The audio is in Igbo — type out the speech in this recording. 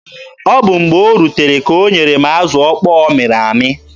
Ọ bụ mgbe o rutere ka o nyere m azụ okpo ọ mịrị amị.